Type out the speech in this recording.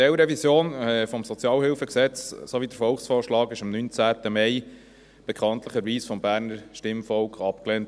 Die Teilrevision des SHG sowie der Volksvorschlag wurden bekanntlich am 19. Mai vom Berner Stimmvolk abgelehnt.